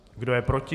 Kdo je proti?